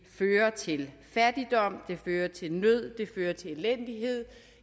fører til fattigdom det fører til nød det fører til elendighed